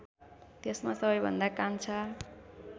त्यसमा सबैभन्दा कान्छा